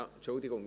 Entschuldigung